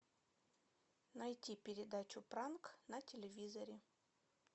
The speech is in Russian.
найти передачу пранк на телевизоре